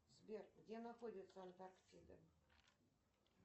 сбер где находится антарктида